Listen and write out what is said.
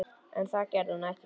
En það gerði hún ekki.